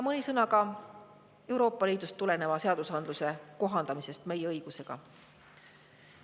Mõne sõnaga Euroopa Liidust tuleneva seadusandluse kohaldamisest meie õigusega.